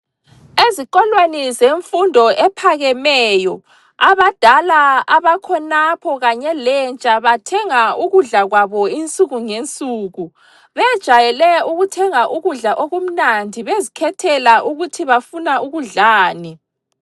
Ezikolweni zemfundo ephakemeyo abadala abakhonapho kanye lentsha bathenga ukudla kwabo insuku ngensuku bejayele ukuthenga ukudla okumandi bezikhethela ukuthi bafuna ukudlani.